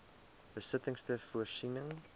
besittings ter voorsiening